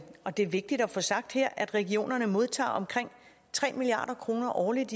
og det er vigtigt at få sagt her at regionerne modtager omkring tre milliard kroner årligt